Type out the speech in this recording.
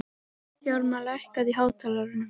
Hjálmar, lækkaðu í hátalaranum.